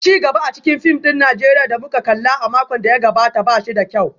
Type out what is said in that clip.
Ci gaba a cikin fim ɗin Najeriya da muka kalla a makon da ya gabata ba shi da kyau